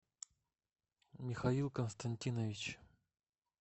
михаил константинович